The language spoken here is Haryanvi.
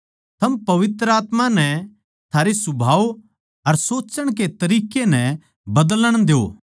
थम पवित्र आत्मा नै थारे सुभाव अर सोच्चण के तरिक्कें नै बदलण द्यो